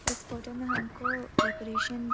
इस फोटो में हमको डेकोरेशन --